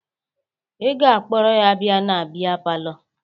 Ị ga-akpọrọ ya bịa na bịa palọ!